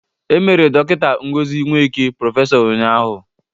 E mere Dọkịta Ngozi Nweke prọfesọ ụnyaahụ